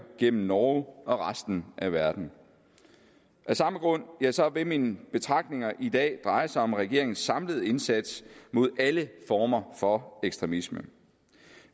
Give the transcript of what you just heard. gennem norge og resten af verden af samme grund vil mine betragtninger i dag dreje sig om regeringens samlede indsats mod alle former for ekstremisme